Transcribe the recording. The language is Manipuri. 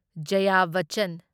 ꯖꯥꯌꯥ ꯕꯆꯟ